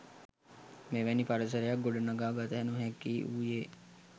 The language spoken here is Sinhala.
මෙවැනි පරිසරයක් ගොඩනගා ගත නො හැකි වූයේ